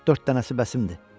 Dörd dənəsi bəsimdir.